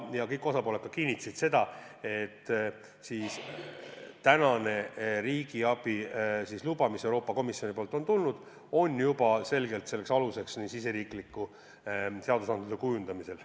Kõik osapooled kinnitasid ka seda, et tänane riigiabi luba, mis Euroopa Komisjonilt on tulnud, on juba selgeks aluseks riigisisese seadusandluse kujundamisel.